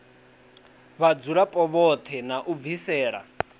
vhadzulapo vhoṱhe na u bvisela